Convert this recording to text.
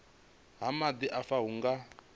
ha maḓi afha hu nga